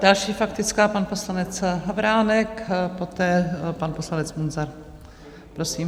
Další faktická, pan poslanec Havránek, poté pan poslanec Munzar, prosím.